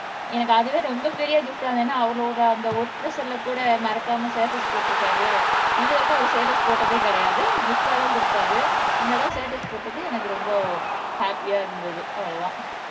எனக்கு அதுவே ரொம்ப பெரிய கிப்ட்டா இருந்தது ஏன்னா அவரோட அந்த ஒர்க் பிரஷர்ல கூட மறக்காம ஸ்டேட்டஸ் போட்டிருக்காரு இது வரைக்கும் அவர் ஸ்டேட்டஸ் போட்டதே கிடையாது கிப்ட்டாதான் கொடுப்பார் இந்த தடவை ஸ்டேட்டஸ் போட்டது எனக்கு ரொம்ப ஹாப்பியா இருந்தது அவ்வளவுதான்